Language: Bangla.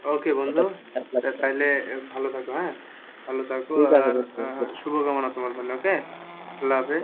Okay বন্ধু তাইলে ভালো থাকো হ্যাঁ ভালো থাকো শুভ কামনা তোমার জন্যে okay আল্লাহাফিজ